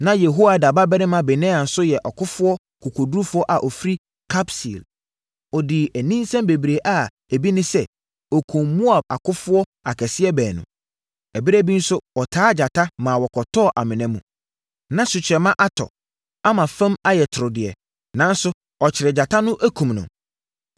Na Yehoiada babarima Benaia nso yɛ ɔkofoɔ kokodurufoɔ a ɔfiri Kabseel. Ɔdii aninsɛm bebree a ebi ne sɛ, ɔkumm Moab akofoɔ akɛseɛ baanu. Ɛberɛ bi nso, ɔtaa gyata, ma wɔkɔtɔɔ amena mu. Na sukyerɛmma atɔ, ama fam ayɛ toro deɛ, nanso ɔkyeree gyata no, kumm no.